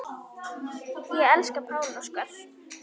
Ég elska Pál Óskar.